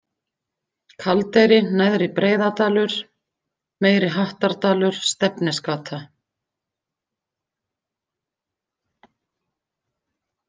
Kaldeyri, Neðri Breiðadalur, Meiri-Hattardalur, Stefnisgata